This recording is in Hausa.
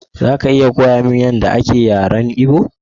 Za ka iya koya mini yadda ake yaren Igbo?